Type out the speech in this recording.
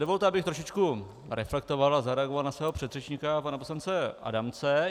Dovolte, abych trošičku reflektoval a zareagoval na svého předřečníka, pana poslance Adamce.